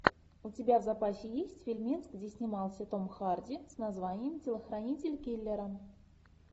у тебя в запасе есть фильмец где снимался том харди с названием телохранитель киллера